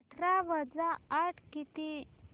अठरा वजा आठ किती